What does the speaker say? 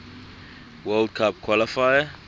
world cup qualifier